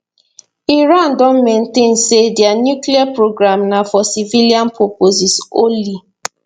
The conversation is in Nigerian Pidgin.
iran don maintain say dia nuclear programme na for civilian purposes only